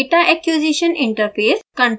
data acquisition interface